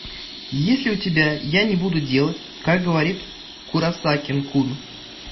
есть ли у тебя я не буду делать как говорит куросаки кун